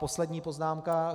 Poslední poznámka.